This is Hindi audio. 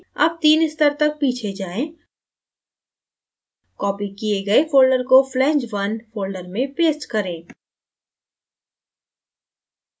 अब तीन स्तर तक पीछे जाएँ copied किए गए folders को flange _ 1 folders में paste करें